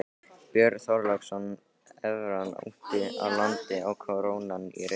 Björn Þorláksson: Evran úti á landi og krónan í Reykjavík?